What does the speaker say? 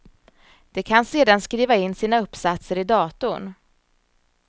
De kan sedan skriva in sina uppsatser i datorn.